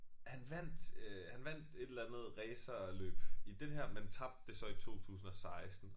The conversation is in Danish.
Han vandt øh han vandt et eller andet racerløb i det her men tabte det så i 2016